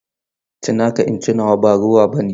Ci naka in ci nawa ba rowa bane.